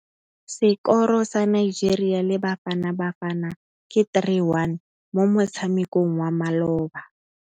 Sekôrô sa Nigeria le Bafanabafana ke 3-1 mo motshamekong wa malôba.